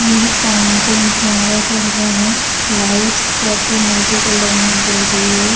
ये है फाउंटेन फव्वारा चल रहा है लाइट्स काफ़ी मल्टी कलर में जल रही है।